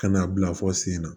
Ka n'a bila fɔ sen na